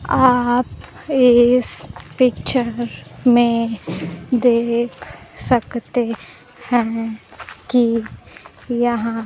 आप इस पिक्चर में देख सकते हैं कि यहां--